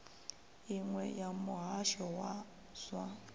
iṅwe ya muhasho wa zwa